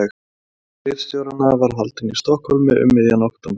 Næsti fundur ritstjóranna var haldinn í Stokkhólmi um miðjan október